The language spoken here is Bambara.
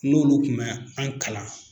N'olu tun mɛ an kalan.